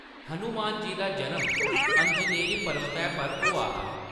हनुमान जी दा जनम अंजनेरी परबतै पर होआ हा।